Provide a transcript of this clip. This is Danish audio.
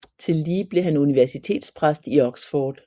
Tillige blev han universitetspræst i Oxford